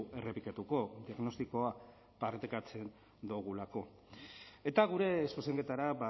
errepikatuko diagnostikoa partekatzen dogulako eta gure zuzenketara